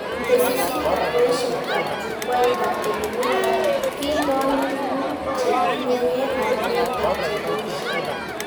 Tesisyitab boishetab Jukwaitab Elimika. Kitony tuguk chetinyeke ak neetab cheboishe